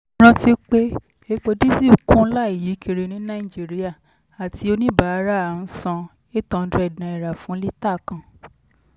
rántí pé epo dísù kún láìyíkiri ní nàìjíríà àti oníbàárà ń san ₦800 fún lítà kan.